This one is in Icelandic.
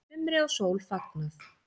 Sumri og sól fagnað